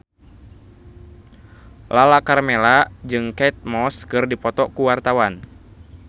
Lala Karmela jeung Kate Moss keur dipoto ku wartawan